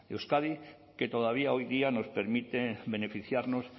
euskadi que todavía hoy día nos permite beneficiarnos